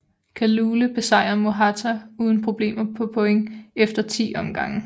Kalule besejrede Mohatar uden problemer på point efter 10 omgange